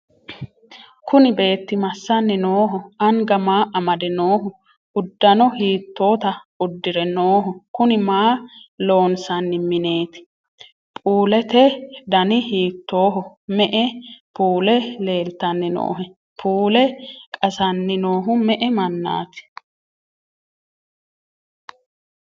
kuni beetti massanni nooho? anga maa amade nooho? uddano hiittota uddi're nooho? kuni maa loonsanni mineeti? puulete dani hiittoho? me'e puule leeltanni noohe? puule qasanni noohu me'e mannaati?